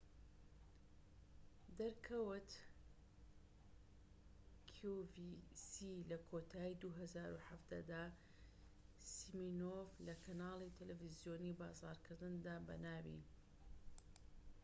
لە کۆتایی ٢٠١٧ دا، سیمینۆف لە کەنالی تەلەڤیزۆنیی بازاڕکردندا بەناوی qvc دەرکەوت